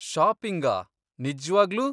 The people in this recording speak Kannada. ಷಾಪಿಂಗಾ? ನಿಜ್ವಾಗ್ಲೂ?